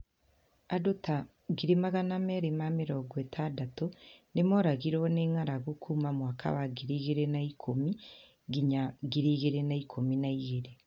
Andũ ta 260,000 nĩmooragirwo nĩ ng'aragu kuuma mwaka wa 2010 nginya 2012.